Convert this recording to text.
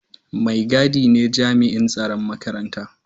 Mai gadi ne jami'in tsaron makaranta.